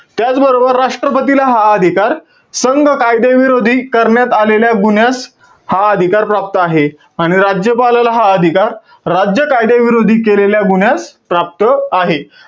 त्याचबरोबर राष्ट्रपतीला हा अधिकार, संघ कायदेविरोधी करण्यात आलेल्या गुन्ह्यास, हा अधिकार प्राप्त आहे. आणि राज्यपालाला हा अधिकार, राज्य कायदेविरोधी केलेल्या गुन्ह्यास, प्राप्त आहे.